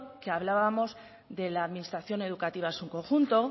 que hablábamos de la administración educativa en su conjunto